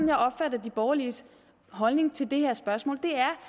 jeg opfatter de borgerliges holdning til det her spørgsmål